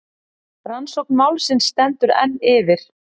Rannsókn málsins stendur enn yfir.